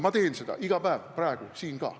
Ma teen seda iga päev, praegu siin ka.